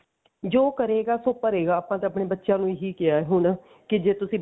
ਜੋ ਕਰੇਗਾ ਸੋ ਭਰੇਗਾ ਆਪਾਂ ਤਾਂ ਆਪਣੇ ਬੱਚਿਆਂ ਨੂੰ ਇਹੀ ਕਿਹਾ ਹੁਣ ਕਿ ਜੇ ਤੁਸੀਂ